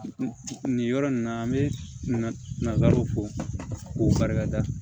Nin yɔrɔ nin na an bɛ nazaraw ko barika da